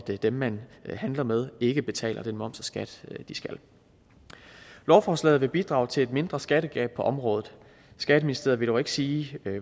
dem man handler med ikke betaler den moms og skat de skal lovforslaget vil bidrage til et mindre skattetab på området skatteministeriet vil dog ikke sige